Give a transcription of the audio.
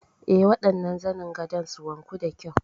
Eh, waɗannan zanin gadon su wanku da kyau.